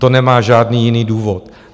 To nemá žádný jiný důvod.